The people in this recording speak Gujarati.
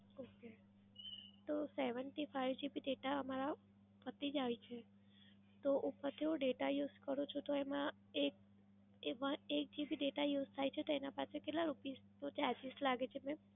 okay તો seventy five GB data અમારા પતી જાય છે, તો ઉપર થી હું data use કરું છું તો એમાં એક one એક GB data use થાય છે તો એના પાછળ કેટલા rupees નો charges લાગે છે mam?